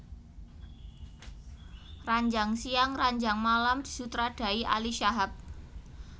Ranjang Siang Ranjang Malam disutradarai Ali Shahab